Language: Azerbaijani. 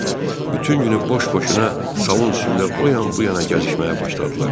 Bütün günü boş-boşuna salon üstündə o yan-bu yana gəzişməyə başladılar.